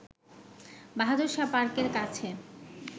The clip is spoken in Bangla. বাহাদুর শাহ পার্কের কাছে